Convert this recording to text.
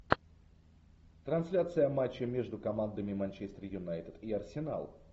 трансляция матча между командами манчестер юнайтед и арсенал